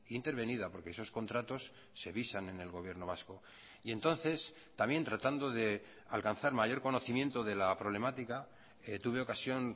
intervenida porque esos contratos se visan en el gobierno vasco y entonces también tratando de alcanzar mayor conocimiento de la problemática tuve ocasión